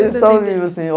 Eles estao vivos, sim.